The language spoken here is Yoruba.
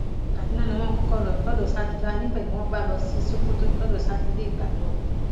kádúná ni wọn kọkọ lọ lọdọ sádúlá níbẹ ni wọn sì bá lọ sí sokoto lọdọ sátidé ìgbà náà